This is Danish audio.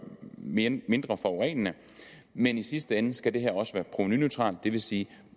mindre forurenende men i sidste ende skal det her også være provenuneutralt og det vil sige